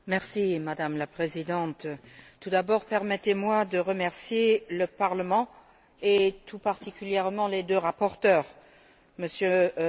Madame la Présidente, tout d'abord permettez moi de remercier le Parlement, et tout particulièrement les deux rapporteurs, MM.